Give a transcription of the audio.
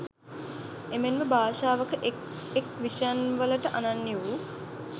එමෙන්ම භාෂාවක එක් එක් විෂයන්වලට අනන්‍ය වූ